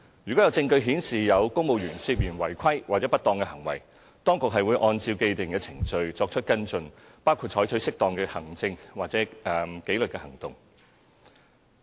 如有證據顯示有公務員涉嫌違規或不當行為，當局會按照既定程序作出跟進，包括採取適當的行政或紀律行動。